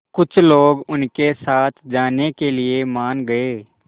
कुछ लोग उनके साथ जाने के लिए मान गए